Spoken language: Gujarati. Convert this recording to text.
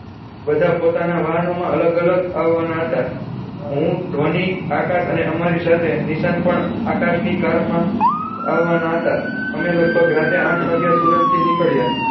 બધા પોતાના વાહનો માં અલગ અલગ આવાના હતા હું ધ્વની આકાશ અને અમારી સાથે નિશાંત પણ આકાશ ની કાર માં આવાના હતા અમે લગભગ રાતે આઠ વાગ્યા સુરત થી નીકળ્યા